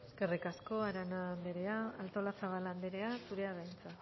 eskerrik asko arana anderea artolazabal andrea zurea da hitza